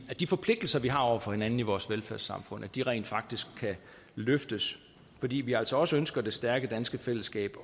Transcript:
de forpligtelser vi har over for hinanden i vores velfærdssamfund rent faktisk kan løftes fordi vi altså også ønsker det stærke danske fællesskab